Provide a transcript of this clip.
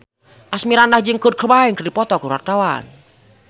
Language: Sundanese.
Asmirandah jeung Kurt Cobain keur dipoto ku wartawan